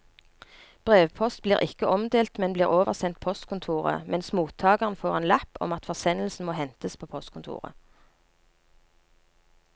Brevpost blir ikke omdelt, men bli oversendt postkontoret, mens mottageren få en lapp om at forsendelsen må hentes på postkontoret.